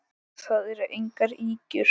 Það eru engar ýkjur.